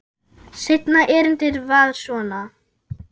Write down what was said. Seinna erindið var svona